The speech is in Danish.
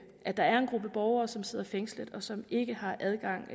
at der er en gruppe borgere som sidder fængslet og som ikke har adgang